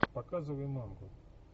показывай мамку